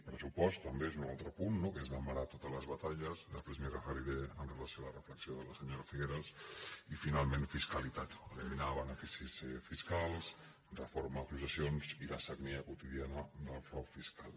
pressupost també és un altre punt no que és la mare de totes les batalles després m’hi referiré amb relació a la reflexió de la senyora figueras i finalment fiscalitat eliminar beneficis fiscals reforma de successions i la sagnia quotidiana del frau fiscal